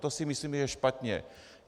To si myslíme, že je špatně.